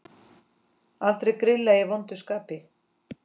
Aldrei grilla í vondu skapi.